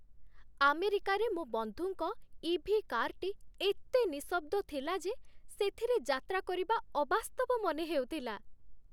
ଆମେରିକାରେ ମୋ ବନ୍ଧୁଙ୍କ ଇ.ଭି. କାର୍‌ଟି ଏତେ ନିଶଃବ୍ଦ ଥିଲା ଯେ ସେଥିରେ ଯାତ୍ରା କରିବା ଅବାସ୍ତବ ମନେହେଉଥିଲା!